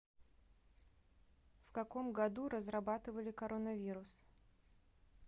в каком году разрабатывали коронавирус